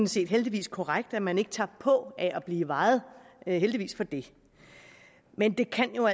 set heldigvis korrekt at man ikke tager på af at blive vejet heldigvis for det men det kan jo